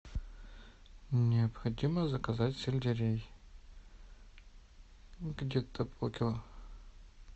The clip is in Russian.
необходимо заказать сельдерей где то полкило